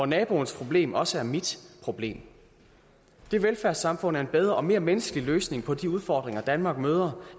naboens problemer også er mit problem det velfærdssamfund er en bedre og mere menneskelig løsning på de udfordringer danmark møder